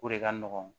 O de ka nɔgɔn